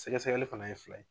Sɛgɛ sɛgɛli fana ye fila ye.